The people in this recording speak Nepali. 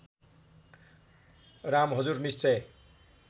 राम हजुर निश्चय